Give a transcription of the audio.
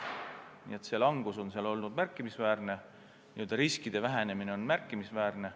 Nii et langus on olnud märkimisväärne, riski vähenemine on märkimisväärne.